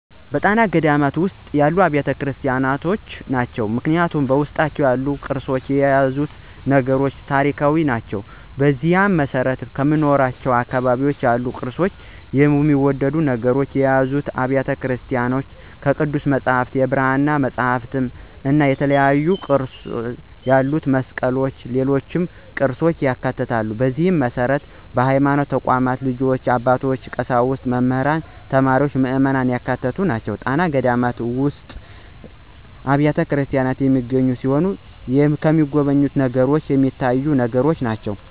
ጣና ገዳማት ውስጥ ያሉ አብያተ ክርስቲያኖች ናቸው። ምክንያቱም በውስጣቸው ያሉት ቅርሶችና የያዙት ነገሮች ታሪካዊ ናቸው። በዚህም መሰረት ከምኖርበት አካባቢ ያሉ ቅርፆችና የሚወደዱ ነገሮችን የያዙ አብያተ ቤተክርስቲያኖች ቅዱስ መፅሐፍት፣ የብራና መፅሐፍትእና የተለያዩ ቅርፅ ያላቸው መስቀሎችና ሌሎች ቅርፆችን ያካትታል፣ በዚህ መሰረት በሀይማኖት ተቋማት ልጆች፣ አባቶች፣ ቀሳውስት፣ መምህራን፣ ተማሪዎችና ምዕመናን ያካተተ ነው። ጣና ውስጥ ያሉ ገዳማትና አብያተክርስቲያናት የሚገኙ ሲሆን የተሚጎበኙ ነገሮችንም ሚታዩትን ነገሮች ናቸው።